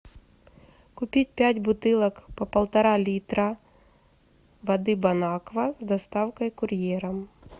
купить пять бутылок по полтора литра воды бонаква с доставкой курьером